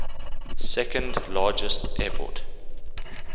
second largest airport